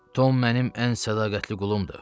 Tom mənim ən sədaqətli qulumdur.